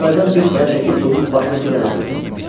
Çəpərdən bir paya çəkib bunun başına bir dənə vurdum.